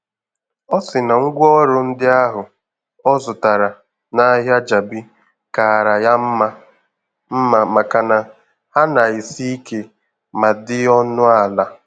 Ọ sị na ngwaọrụ ndị ahụ ọ zụtara n'ahịa Jabi kaara ya mma mma makana ha na-esi ike ma dị ọnụ ala.